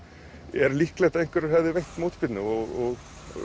er líklegt að einhverjir hefðu veitt mótspyrnu og